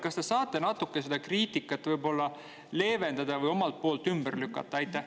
Kas te saate seda kriitikat natuke leevendada või omalt poolt ümber lükata?